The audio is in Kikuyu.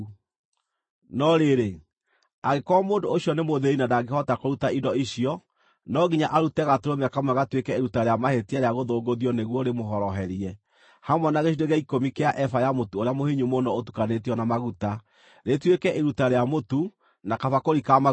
“No rĩrĩ angĩkorwo mũndũ ũcio nĩ mũthĩĩni na ndangĩhota kũruta indo icio, no nginya arute gatũrũme kamwe gatuĩke iruta rĩa mahĩtia rĩa gũthũngũthio nĩguo rĩmũhoroherie, hamwe na gĩcunjĩ gĩa ikũmi kĩa eba ya mũtu ũrĩa mũhinyu mũno ũtukanĩtio na maguta, rĩtuĩke iruta rĩa mũtu, na kabakũri ka maguta,